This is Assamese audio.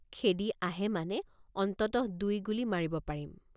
খেদি আহে মানে অন্ততঃ দুই গুলী মাৰিব পাৰিম।